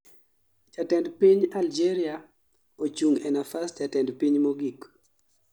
jatend piny algeria ochung' e nafas jatend piny mogik